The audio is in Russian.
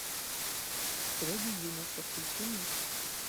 строгий юноша включи мне